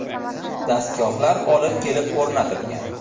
Dastgohlar olib kelib o‘rnatilgan.